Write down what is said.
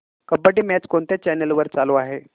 kabaddi match कोणत्या channel वर चालू आहे